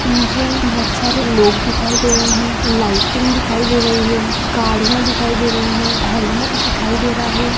मुझे बोहोत सारे लोग दिखाई दे रहे हैं लाइटिंग दिखाई दे रही हैं गाड़ियां दिखाई दे रहे हैं हेल्मेट दिखाई दे रहा हैं।